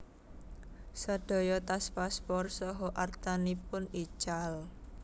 Sedaya tas paspor saha artanipun ical